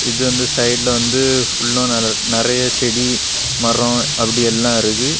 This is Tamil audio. இது வந்து சைடுல வந்து ஃபுல்லும் நிறைய செடி மரம் அப்டி எல்லாம் இருக்கு.